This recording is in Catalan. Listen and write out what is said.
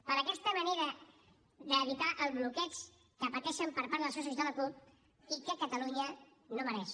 per aquesta manera d’evitar el bloqueig que pateixen per part dels seus socis de la cup i que catalunya no mereix